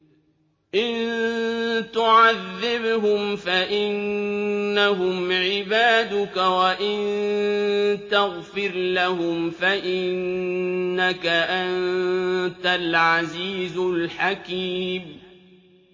إِن تُعَذِّبْهُمْ فَإِنَّهُمْ عِبَادُكَ ۖ وَإِن تَغْفِرْ لَهُمْ فَإِنَّكَ أَنتَ الْعَزِيزُ الْحَكِيمُ